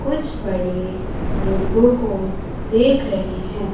कुछ बड़े मुर्गों को देख रहे हैं।